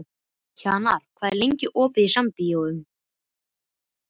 Hjarnar, hvað er lengi opið í Sambíóunum?